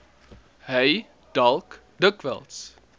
hy dalk dikwels